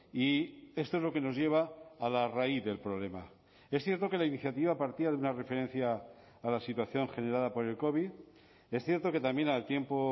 y esto es lo que nos lleva a la raíz del problema es cierto que la iniciativa partía de una referencia a la situación generada por el covid es cierto que también al tiempo